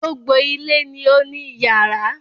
Gbogbo ilé ni ó ní iyàrá